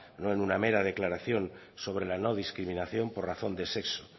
no en un mera declaración sobre la no discriminación por razón de sexo